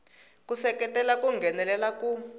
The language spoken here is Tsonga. ku seketela ku nghenelela ku